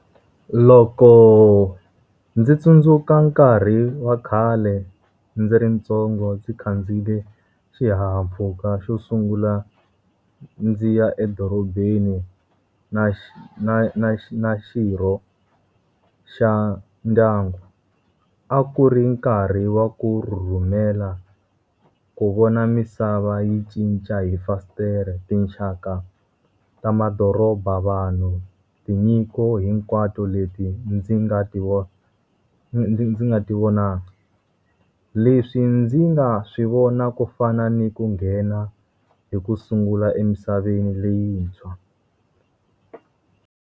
Loko ndzi tsundzuka nkarhi wa khale ndzi ri ntsongo ndzi khandziyile xihahampfhuka xo sungula ndzi ya edorobeni na na na na xirho xa ndyangu. A ku ri nkarhi wa ku rhurhumela, ku vona misava yi cinca hi fasitere. Tinxaka ta madoroba, vanhu, tinyiko hinkwato leti ndzi nga ti ndzi ndzi ndzi nga ti vonangi. Leswi ndzi nga swi vona ku fana ni ku nghena hi ku sungula emisaveni leyintshwa.